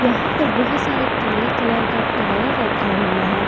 यहां पर बहोत सारे काले कलर का टायर रखा हुआ है।